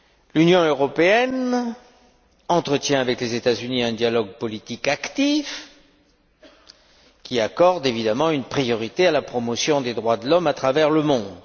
L'Union européenne entretient avec les États Unis un dialogue politique actif qui accorde évidemment une priorité à la promotion des droits de l'homme à travers le monde.